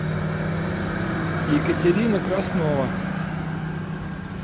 екатерина краснова